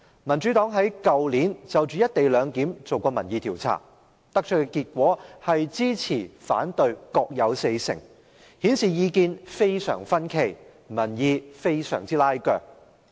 民主黨在去年就"一地兩檢"進行民意調查，所得結果是支持和反對各有四成，顯示意見非常分歧，民意非常拉鋸。